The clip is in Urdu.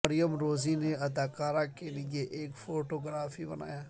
مریم روزی نے اداکارہ کے لئے ایک فوٹو گرافی بنایا